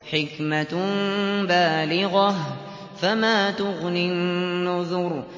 حِكْمَةٌ بَالِغَةٌ ۖ فَمَا تُغْنِ النُّذُرُ